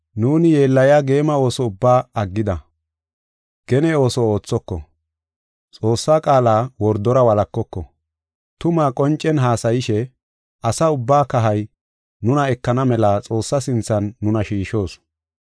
Nuuni yeellaya geema ooso ubbaa aggida; gene ooso oothoko; Xoossaa qaala wordora walakoko. Tumaa qoncen haasayishe, asa ubbaa kahay nuna ekana mela Xoossaa sinthan nuna shiishoos.